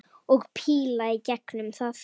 Og píla í gegnum það!